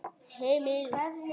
Heimild og